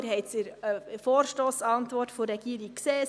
Sie haben es in der Vorstossantwort der Regierung gesehen.